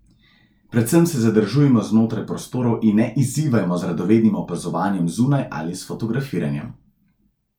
Predvsem se zadržujmo znotraj prostorov in ne izzivajmo z radovednim opazovanjem zunaj ali s fotografiranjem.